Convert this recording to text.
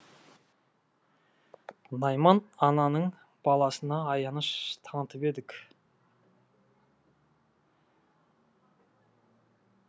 найман ананың баласына аяныш танытып едік